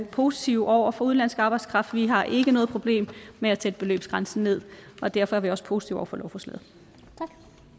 positive over for udenlandsk arbejdskraft vi har ikke noget problem med at sætte beløbsgrænsen ned og derfor er vi også positive over for lovforslaget tak